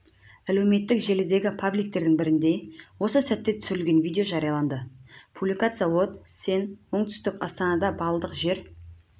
әлеуметтік желідегі пабликтердің бірінде осы сәтте түсірілген видео жарияланды публикация от сен оңтүстік астанада баллдық жер